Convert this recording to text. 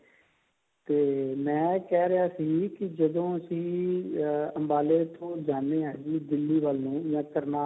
ਤੇ ਮੈਂ ਕਹਿ ਰਿਹਾ ਸੀ ਕਿ ਜਦੋਂ ਅਸੀਂ ਅੰਬਾਲੇ ਇੱਥੋ ਜਾਂਦੇ ਹਾਂ ਜੀ ਦਿੱਲੀ ਵੱਲ ਨੂੰ ਜਾ